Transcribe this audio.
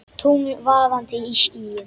Tungl vaðandi í skýjum.